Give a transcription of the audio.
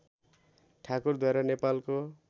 ठाकुरद्वारा नेपालको